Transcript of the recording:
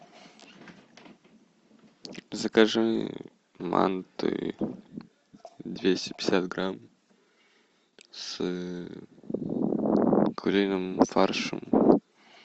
закажи манты двести пятьдесят грамм с куриным фаршем